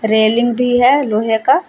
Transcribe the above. Railing भी है लोहे का।